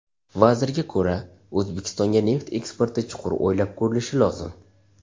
Vazirga ko‘ra, O‘zbekistonga neft eksporti chuqur o‘ylab ko‘rilishi lozim.